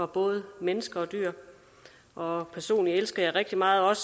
både mennesker og dyr og personligt elsker jeg rigtig meget